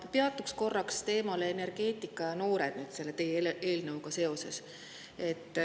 Ma peatun korraks energeetika ja noorte teemal selle eelnõuga seoses.